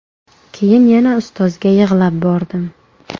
Keyin yana ustozga yig‘lab bordim.